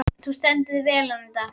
Þú stendur þig vel, Anita!